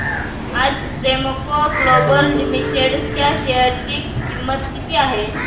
आज Premco global limited च्या share ची किंमत काय आहे